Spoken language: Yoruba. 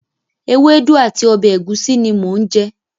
Ewédú àti ọbẹ̀ ẹ̀gúsí ni mò ń jẹ.